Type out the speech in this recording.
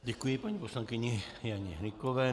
Děkuji paní poslankyni Janě Hnykové.